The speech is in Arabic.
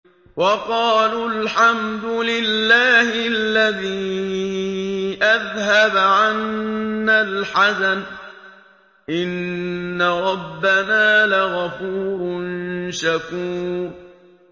وَقَالُوا الْحَمْدُ لِلَّهِ الَّذِي أَذْهَبَ عَنَّا الْحَزَنَ ۖ إِنَّ رَبَّنَا لَغَفُورٌ شَكُورٌ